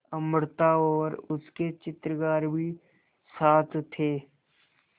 अमृता और उसके चित्रकार भी साथ थे